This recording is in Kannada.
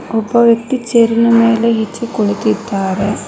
ಒಬ್ಬ ವ್ಯಕ್ತಿ ಚೇರಿನ ಮೇಲೆ ಈಚೆ ಕೂಳಿತಿದ್ದಾರೆ.